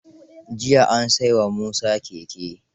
Jiya an sai wa Musa keke.